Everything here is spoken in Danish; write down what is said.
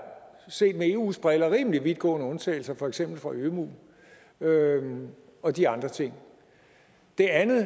set med eus briller rimelig vidtgående undtagelser for eksempel fra ømuen ømuen og de andre ting det andet